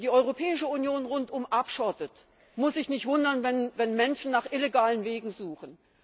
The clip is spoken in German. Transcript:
Wer die Europäische Union rundum abschottet, muss sich nicht wundern, wenn Menschen nach illegalen Wegen suchen.